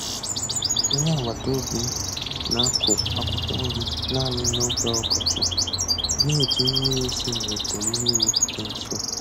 Onye agbata obi m na-akụ akwụkwọ nri naanị n'oge ọkọchị, na-eji mmiri si n'ọdọ mmiri dị nso.